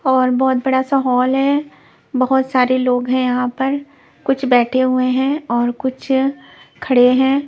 और बहुत बड़ा सा हॉल है बहुत सारे लोग हैं यहां पर कुछ बैठे हुए हैं और कुछ खड़े हैं।